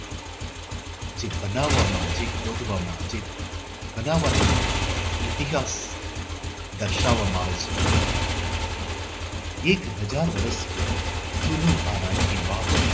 જે બનાવવામાં જે ખોદવામાં જે બનાવાનું ઐતિહાસિક દર્શાવવામાં આવે છે. એક હજાર વર્ષ જુનું આ રાણી કી વાવ